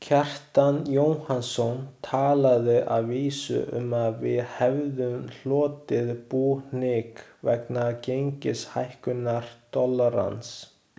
Kjartan Jóhannsson talaði að vísu um að við hefðum hlotið búhnykk vegna gengishækkunar dollarans.